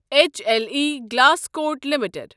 H L E Glascoat limited